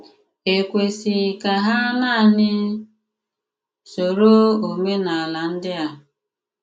È kwesị̀ ka hà nanị sòrò òménálà ndị à?